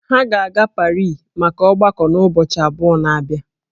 Ha ga-aga Parii maka ọgbako n'ụbọchị abụọ na-abịa